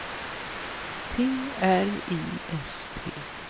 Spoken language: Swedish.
T R I S T